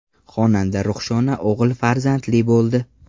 Xonanda Ruxshona o‘g‘il farzandli bo‘ldi.